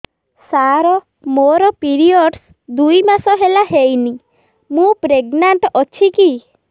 ସାର ମୋର ପିରୀଅଡ଼ସ ଦୁଇ ମାସ ହେଲା ହେଇନି ମୁ ପ୍ରେଗନାଂଟ ଅଛି କି